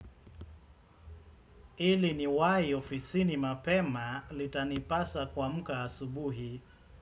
Ili niwahi ofisini mapema litanipasa kuamka asubuhi.